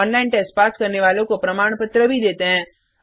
online test pass करने वालों को प्रमाण पत्र भी देते हैं